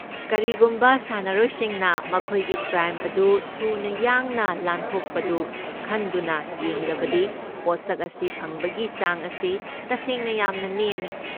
ꯀꯔꯤꯒꯨꯝꯕ ꯁꯥꯟꯅꯔꯣꯏꯁꯤꯡꯅ ꯃꯈꯣꯏꯒꯤ ꯄ꯭ꯔꯥꯏꯝ ꯑꯗꯨ ꯊꯨꯅ ꯌꯥꯡꯅ ꯂꯥꯟꯊꯣꯛꯄꯗꯨ ꯈꯟꯗꯨꯅ ꯌꯦꯡꯂꯕꯗꯤ ꯄꯣꯠꯁꯛ ꯑꯁꯤ ꯐꯪꯕꯒꯤ ꯆꯥꯡ ꯑꯁꯤ ꯇꯁꯦꯡꯅ ꯌꯥꯝꯅ ꯅꯦꯝꯃꯤ꯫